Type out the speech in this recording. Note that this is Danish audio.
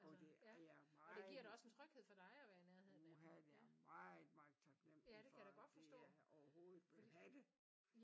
Jo og det er jeg meget uha ja jeg er meget meget taknemmlig for at de overhovedet vil have det